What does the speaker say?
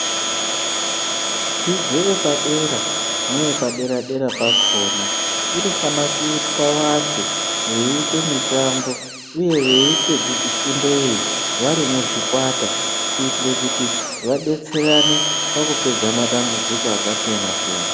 Dzidzo yepa dera neye pa dera dera pakona inofana kuitwa vantu vei ite mitambo uye veite fundo iyi vari muzvikwata kuitire kuti vadetserana paku pedza matambudziko aka siyana siyana.